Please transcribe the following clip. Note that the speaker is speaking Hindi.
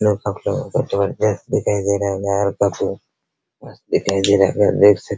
लुक आप लोगो को काफी जबरदस्त दिखाई दे रहा होगा मस्त दिखाई दे रहा होगा देख सक --